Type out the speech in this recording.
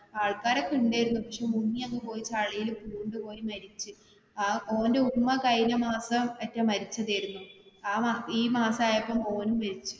ആൾക്കാരൊക്കെ ഉണ്ടായിരുന്നു പക്ഷെ മുങ്ങി അങ്ങ് പോയി ചളില് പൂണ്ടു പോയി മരിച്ചു ഓന്റെ ഉമ്മ കഴിഞ്ഞ മാസം ആട്ടെ മരിച്ചതായിരുന്നു അഹ് ഈ മാസം ആയപ്പോൾ മോനും മരിച്ച്.